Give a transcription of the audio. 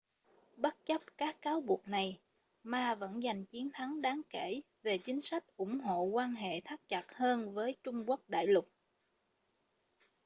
bất chấp các cáo buộc này ma vẫn dành chiến thắng đáng kể về chính sách ủng hộ quan hệ thắt chặt hơn với trung quốc đại lục